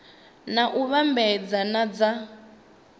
na u vhambedzea na dza